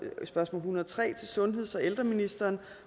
og to og en hundrede og tre til sundheds og ældreministeren